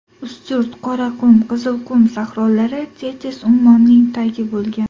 Ustyurt, Qoraqum, Qizilqum sahrolari Tetis ummonining tagi bo‘lgan.